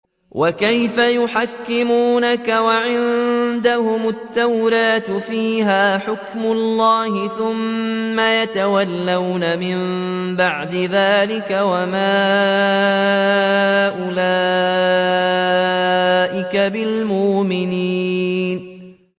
وَكَيْفَ يُحَكِّمُونَكَ وَعِندَهُمُ التَّوْرَاةُ فِيهَا حُكْمُ اللَّهِ ثُمَّ يَتَوَلَّوْنَ مِن بَعْدِ ذَٰلِكَ ۚ وَمَا أُولَٰئِكَ بِالْمُؤْمِنِينَ